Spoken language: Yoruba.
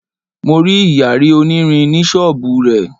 Mo rí Ìyàrí onírin ní ṣọ́bùù rẹ̀.